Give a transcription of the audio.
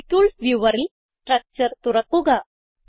molecules viewerൽ structure തുറക്കുക